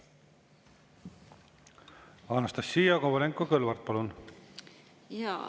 Anastassia Kovalenko-Kõlvart, palun!